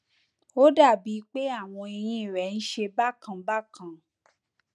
ó dàbíi pé àwọn eyín rẹ ń ṣe bákan bákan